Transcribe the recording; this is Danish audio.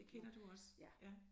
Det kender du også ja